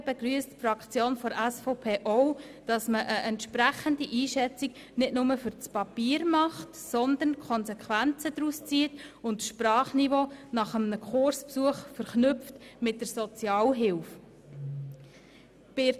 Die SVP-Fraktion begrüsst insbesondere, dass man eine entsprechende Einschätzung nicht nur fürs Papier haben wird, sondern auch die Konsequenzen zieht und das Sprachniveau nach einem Kursbesuch mit der Sozialhilfe verknüpft.